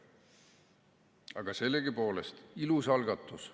Aga sellegipoolest ilus algatus.